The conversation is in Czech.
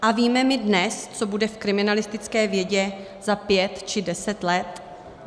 A víme my dnes, co bude v kriminalistické vědě za pět či deset let?